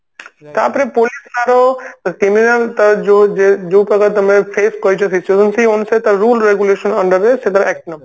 ତାପରେ police ତାର criminal ତାର ଯୋଉ ଯୋଉ ପ୍ରକାର ତମେ face କରିଛ ସେଇସବୁ ଜିନିଷ ତାର rule regulation under ରେ ସେ ତାର act ନବ